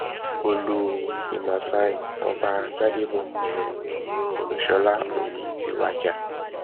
olú ìmásáyí ọba gbadèbọ um olúṣọlá òní ti wájà